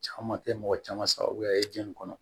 Caman tɛ mɔgɔ caman sagoya ye jɛnni kɔnɔ